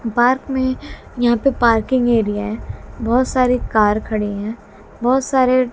park में यहां पे पार्किंग एरिया है बहुत सारी कार खड़ी हैं बहुत सारे--